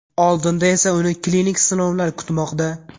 Oldinda esa uni klinik sinovlar kutmoqda.